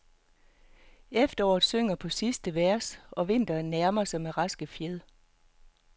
Efteråret synger på sidste vers og vinteren nærmer sig med raske fjed.